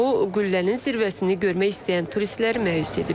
Bu, qüllənin zirvəsini görmək istəyən turistləri məyus edib.